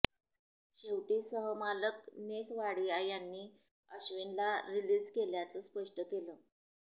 शेवटी सहमालक नेस वाडिया यांनी अश्विनला रिलीज केल्याचं स्पष्ट केलं